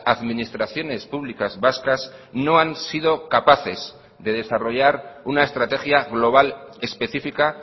administraciones públicas vascas no han sido capaces de desarrollar una estrategia global específica